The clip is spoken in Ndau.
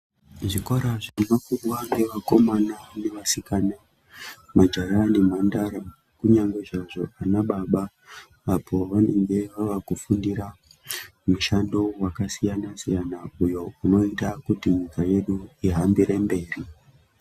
Zvikora zvinofundwa ngevakomana navasikana majaha nemhandara kunyange izvozvo vana baba apo vanenge vavakufundirwa mushando vakasiyana-siyana, uyo unoita kuti nyika yedu ihambire mberi.